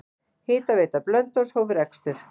Hitaveita Blönduóss hóf rekstur.